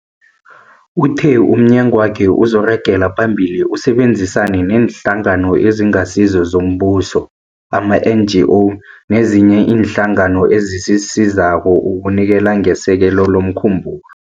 Uthe umnyagwakhe uzoragela phambili usebenzisane neeNhlangano eziNgasizo zoMbuso, ama-NGO, nezinye iinhlangano ezisizako ukunikela ngesekelo lomkhumbulo.